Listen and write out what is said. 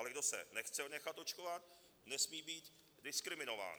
Ale kdo se nechce nechat očkovat, nesmí být diskriminován.